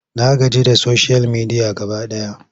Na gaji da soshiyal media gaba ɗaya.